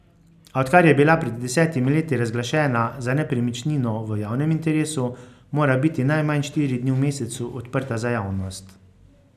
A odkar je bila pred desetimi leti razglašena za nepremičnino v javnem interesu, mora biti najmanj štiri dni v mesecu odprta za javnost.